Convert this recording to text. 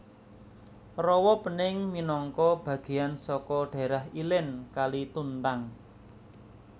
Rawa Pening minangka bagéyan saka dhaérah ilèn Kali Tuntang